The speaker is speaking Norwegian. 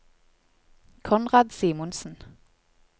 Konrad Simonsen